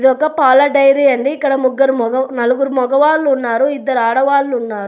ఇది ఒక పాల డైరీ అండి. ఇక్కడ ముగ్గరు మగ నలుగురు మగవాళ్ళున్నారు ఇద్దరు ఆడవాళ్ళున్నారు.